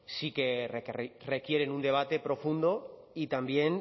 sí que requieren un debate profundo y también